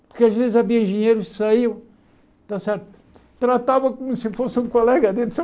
Porque às vezes havia engenheiros que saíam, está certo tratavam como se fossem um colega deles.